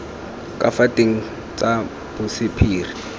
ka fa teng tsa bosephiri